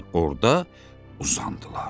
Orda uzandılar.